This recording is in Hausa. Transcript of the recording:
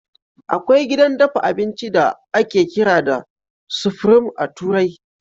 Akwai gidan dafa abinci da ake kira da Supreme a turai.